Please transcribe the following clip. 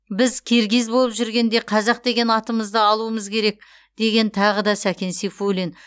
біз киргиз болып жүргенде қазақ деген атымызды алуымыз керек деген тағы да сәкен сейфуллин